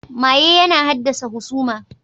Maye yana haddasa husama.